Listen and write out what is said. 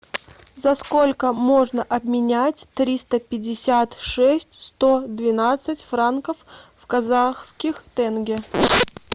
за сколько можно обменять триста пятьдесят шесть сто двенадцать франков в казахских тенге